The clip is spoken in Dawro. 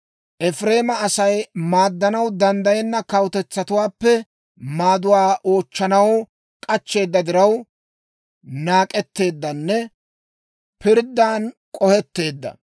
Efireema Asay maaddanaw danddayenna kawutetsatuwaappe maaduwaa oochchanaw k'achcheeda diraw, naak'etteeddanne pirddan k'ohetteedda.